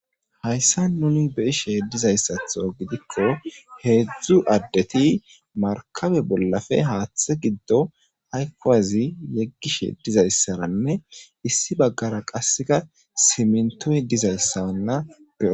Hayssa nuni be ishe dizayssatho gidikko heedzdzu addeti markabe bollafe haaththe giddo haykkowazi yeggishe dizayssaranne issi baggara qasseka simintoy dizayssanna be.